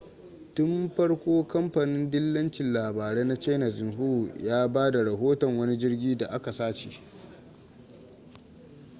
tun farko kamfanin dillacin labarai na china xinhua ya ba da rahoton wani jirgin da aka sace